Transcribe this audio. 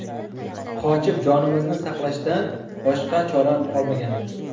Qochib, jonimizni saqlashdan boshqa chora qolmagandi.